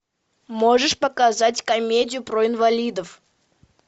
можешь показать комедию про инвалидов